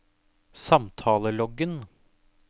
samtaleloggen